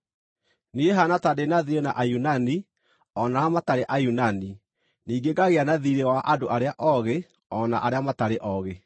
Niĩ haana ta ndĩ na thiirĩ na Ayunani o na arĩa matarĩ Ayunani, ningĩ ngagĩa na thiirĩ wa andũ arĩa oogĩ o na arĩa matarĩ oogĩ.